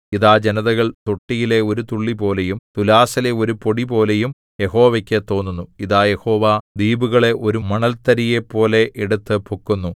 ഇതാ ജനതകൾ തൊട്ടിയിലെ ഒരു തുള്ളിപോലെയും തുലാസിലെ ഒരു പൊടിപോലെയും യാഹോവയ്ക്ക് തോന്നുന്നു ഇതാ യഹോവ ദ്വീപുകളെ ഒരു മണൽതരിയെപ്പോലെ എടുത്തു പൊക്കുന്നു